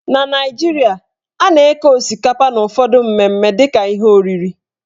Na Naijiria, a na-eke osikapa n' ụfọdụ mmemme dịka ihe oriri.